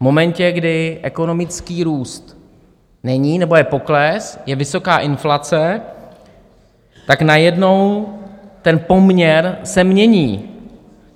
V momentě, kdy ekonomický růst není nebo je pokles, je vysoká inflace, tak najednou ten poměr se mění.